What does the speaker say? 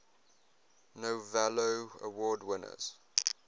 novello award winners